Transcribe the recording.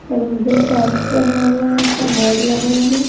Closure sales बना हुआ है का बोर्ड लगा है।